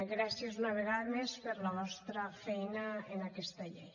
gràcies una vegada més per la vostra feina en aquesta llei